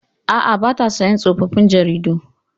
Aa, bata siyan tsofaffin jaridu